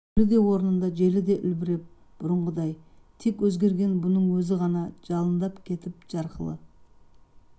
көлі де орнында желі де үлбіреп бұрынғыдай тек өзгерген бұның өзі ғана жалындап кетіп жарқылы